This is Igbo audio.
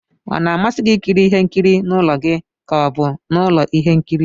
Ọ na-amasị gị ikiri ihe nkiri n'ụlọ gi ka ọ bụ n'ulo ihe nkiri?